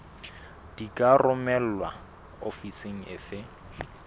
di ka romelwa ofising efe